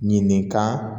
Ɲininka